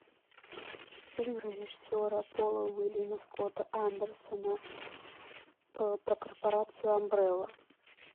фильм режиссера пола уильяма скотта андерсона про корпорацию амбрелла